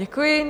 Děkuji.